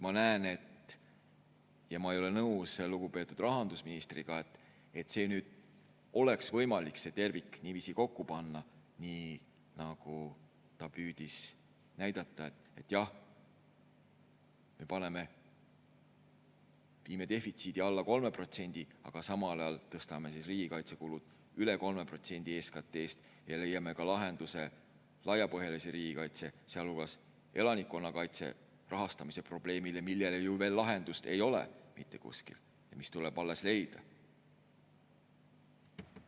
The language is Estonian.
Ma ei ole nõus lugupeetud rahandusministriga, et nüüd oleks võimalik see tervik niiviisi kokku panna, nagu ta püüdis näidata, et jah, me viime defitsiidi alla 3%, aga samal ajal tõstame siis riigikaitsekulud üle 3% SKT‑st ja leiame lahenduse laiapõhjalise riigikaitse, sealhulgas elanikkonnakaitse rahastamise probleemile, millele ju veel lahendust mitte kuskil ei ole ja mis tuleb alles leida.